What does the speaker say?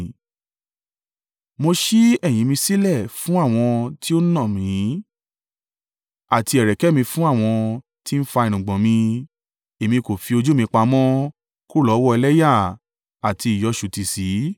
Mo ṣí ẹ̀yìn mi sílẹ̀ fún àwọn tí ó ń nà mí, àti ẹ̀rẹ̀kẹ́ mi fún àwọn tí ń fa irùngbọ̀n mi; Èmi kò fi ojú mi pamọ́ kúrò lọ́wọ́ ẹlẹ́yà àti ìyọṣùtì sí.